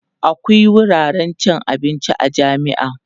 akwia wuraren cin abinci a jami'a